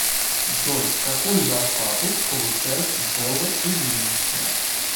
джой какую зарплату получает белла ильинична